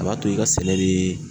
A b'a to i ka seleriii